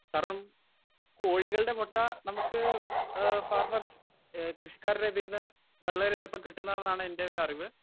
speaker 1 കാരണം കോഴികളുടെ മുട്ട നമുക്ക് ഏഹ് ഫാർമേഴ്‌സ് കൃഷിക്കാരുടെ ഇതീന്ന് വളരെ എളുപ്പം കിട്ടുന്നതാണ് എന്റെ ഒരറിവ്